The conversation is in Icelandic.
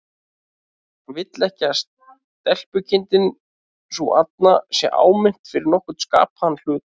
Hann vill ekki að stelpukindin sú arna sé áminnt fyrir nokkurn skapaðan hlut.